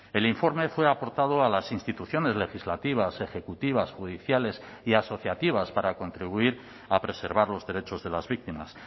el informe fue aportado a las instituciones legislativas ejecutivas judiciales y asociativas para contribuir a preservar los derechos de las víctimas